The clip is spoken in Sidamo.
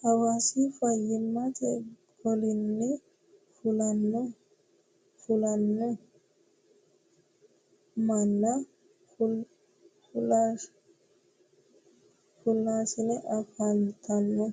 Hawaasa faayyimate golinni fullahano manna fulahisiisani afantano